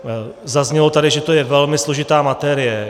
Zaznělo tady, že to je velmi složitá materie.